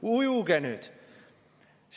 Ujuge nüüd!